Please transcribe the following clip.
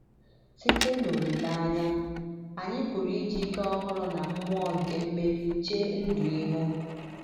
“ Site n’olileanya, anyị pụrụ iji ike ọhụrụ na mmụọ nke mmeri chee ndụ ihu. ”